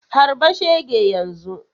Harba shege yanzu!